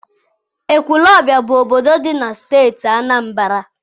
Ekwulobia bụ obodo dị na Steeti Anambra.